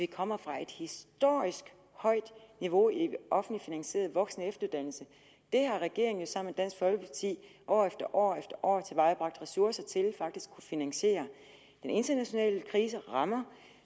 kommer fra et historisk højt niveau i en offentligt finansieret voksen og efteruddannelse det har regeringen jo sammen med dansk folkeparti år efter år efter år tilvejebragt ressourcer til faktisk at kunne finansiere den internationale krise rammer og